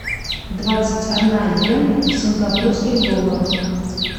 двадцать одна йен в сингапурских долларах